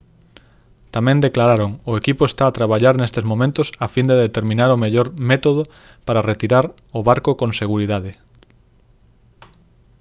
tamén declararon: «o equipo está a traballar nestes momentos a fin de determinar o mellor método para retirar o barco con seguridade»